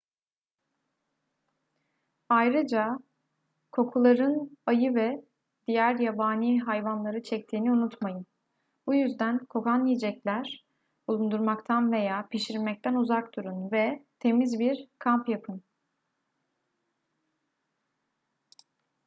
ayrıca kokuların ayı ve diğer yabani hayvanları çektiğini unutmayın bu yüzden kokan yiyecekler bulundurmaktan veya pişirmekten uzak durun ve temiz bir kamp yapın